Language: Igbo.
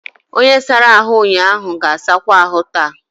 Onye sara ahụ ụnyaahụ ga-asakwa ahụ taa.